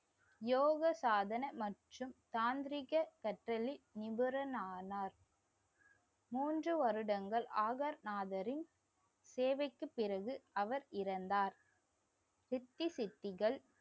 யோக சாதன மற்றும் தாந்திரீக நிபுணர் ஆனார் மூன்று வருடங்கள் ஆகர் நாதரின் சேவைக்குப் பிறகு அவர் இறந்தார். சித்தி சித்திகள்